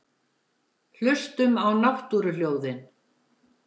Hlustum á náttúruhljóðin.